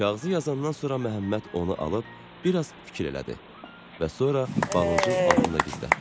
Kağızı yazandan sonra Məhəmməd onu alıb bir az fikir elədi və sonra balıncın altında gizlətdi.